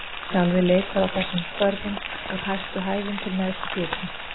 Sjálfið leikur á þessum hvörfum: úr hæstu hæðum til neðstu djúpa.